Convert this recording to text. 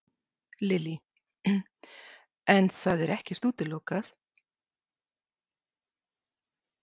Lillý: En það er ekkert útilokað?